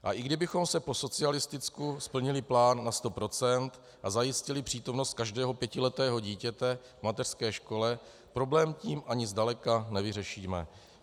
A i kdybychom po socialisticku splnili plán na 100 % a zajistili přítomnost každého pětiletého dítěte v mateřské škole, problém tím ani zdaleka nevyřešíme.